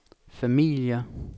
familier